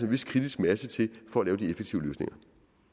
vis kritisk masse til for at lave de effektive løsninger